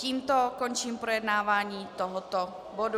Tímto končím projednávání tohoto bodu.